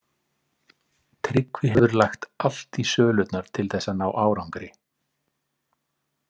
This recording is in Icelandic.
Tryggvi hefur lagt allt í sölurnar til þess að ná árangri.